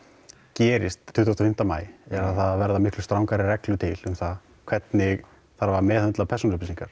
gerist tuttugasta og fimmta maí er að það verða miklu strangari reglur til um það hvernig þarf að meðhöndla persónuupplýsingar